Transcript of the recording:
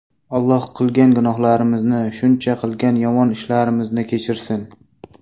Alloh qilgan gunohlarimizni, shuncha qilgan yomon ishlarimizni kechirsin.